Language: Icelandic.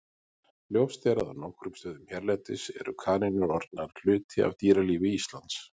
Ljóst er að á nokkrum stöðum hérlendis eru kanínur orðnar hluti af dýralífi Íslands.